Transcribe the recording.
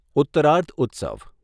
ઉત્તરાર્ધ ઉત્સવ